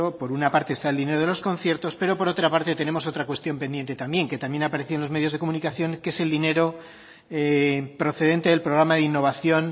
por una parte está el dinero de los conciertos pero por otra parte tenemos otra cuestión pendiente también que también ha aparecido en los medios de comunicación que es el dinero procedente del programa de innovación